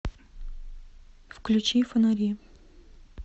включи фонари